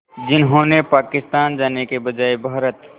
जिन्होंने पाकिस्तान जाने के बजाय भारत